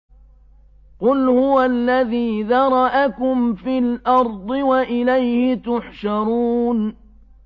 قُلْ هُوَ الَّذِي ذَرَأَكُمْ فِي الْأَرْضِ وَإِلَيْهِ تُحْشَرُونَ